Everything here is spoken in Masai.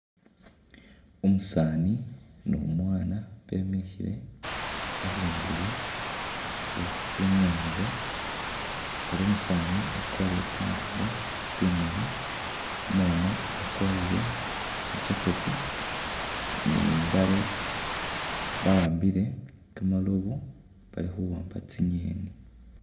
Umusaani ni umwaana bemikhile abundulo we we i'nyaanza ela umusaani akwarire tsingubo tsimali, umwaana akwarire shi jacket ni i'mbaale bahambile kimirobo bali khuwamba tsingeni.